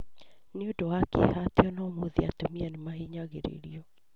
Nĩ ũndũ wa kĩeha atĩ ona ũmũthĩ atumia nĩ mahinyagĩrĩrio.